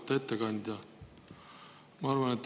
Auväärt ettekandja!